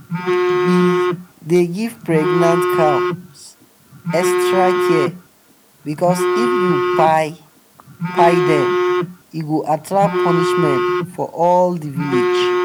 them be dey give pregnant cows extra care because if you kpai kpai them e go attract punishment for all the village.